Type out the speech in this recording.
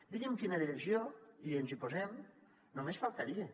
digui’m quina direcció i ens hi posem només faltaria